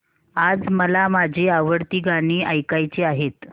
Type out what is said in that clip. आज मला माझी आवडती गाणी ऐकायची आहेत